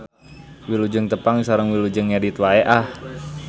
Wilujeng tepang sareng wilujeng ngedit wae ah.